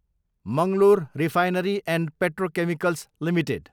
Mangalore refinery and petrochemicals Ltd